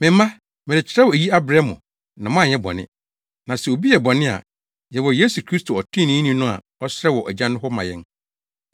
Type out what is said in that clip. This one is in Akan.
Me mma, merekyerɛw eyi abrɛ mo na moanyɛ bɔne; na sɛ obi yɛ bɔne a, yɛwɔ Yesu Kristo ɔtreneeni no a ɔsrɛ wɔ Agya no hɔ ma yɛn.